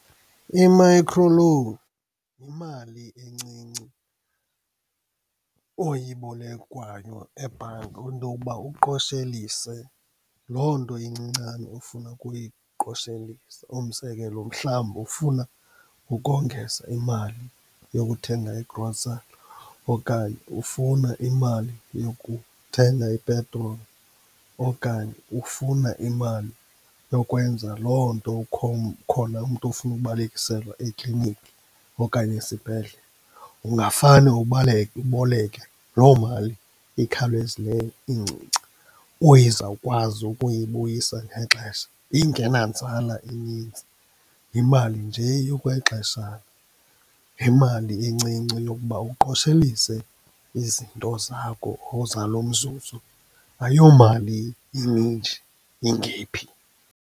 I-microloan yimali encinci oyibolekwayo ebhanki intokuba uqoshelise loo nto incincane ofuna ukuyiqoshelisa. Umzekelo, mhlawumbi ufuna ukongeza imali yokuthenga i-gocery okanye ufuna imali yokuthela ipetroli, okanye ufuna imali yokwenza loo nto, ukhona umntu ofuna ukubalekiselwa eklinikhi okanye esibhedlele. Ungafane uboleke loo mali ikhawulezileyo incinci uyizawukwazi ukuyibuyisa ngexesha, ingenanzala inintsi. Yimali nje yokwexeshana, yimali encinci yokuba uqoshelise izinto zakho zalo mzuzu. Ayomali ininji, ingephi.